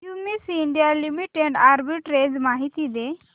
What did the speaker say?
Cummins India limited arbitrage माहिती दे